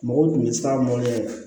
Mɔgɔw tun bɛ siran